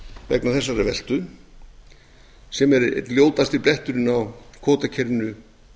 vegna þessarar veltu sem er einn ljótasti bletturinn á kvótakerfinu